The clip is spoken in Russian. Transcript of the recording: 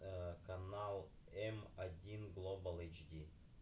канал один глобал эйч ди